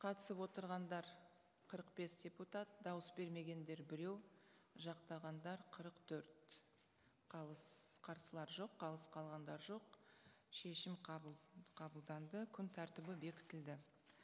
қатысып отырғандар қырық бес депутат дауыс бермегендер біреу жақтағандар қырық төрт қарсылар жоқ қалыс қалғандар жоқ шешім қабылданды күн тәртібі бекітілді